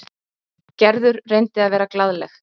Gerður reyndi að vera glaðleg.